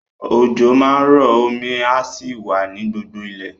Òjò máa rọ, omi á sì wà ní gbogbo ilẹ̀.